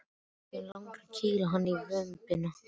Mig langar að kýla hann í vömbina.